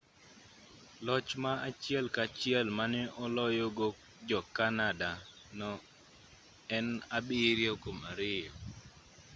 loch ma achiel ka achiel mane oloyogo ja-canada no en 7-2